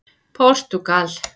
Portúgal